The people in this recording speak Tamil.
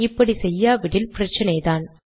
இப்படி செய்யாவிட்டால் பிரச்சினைதான்